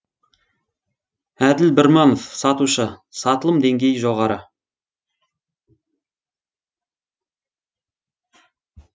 әділ бірманов сатушы сатылым деңгейі жоғары